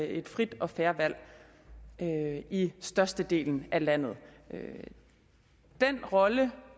et frit og fair valg i størstedelen af landet den rolle